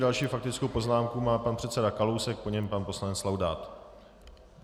Další faktickou poznámku má pan předseda Kalousek, po něm pan poslanec Laudát.